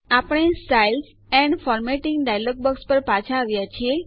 આપણે styles and formatting dialog box પર પાછા આવ્યા છીએ